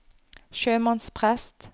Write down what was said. sjømannsprest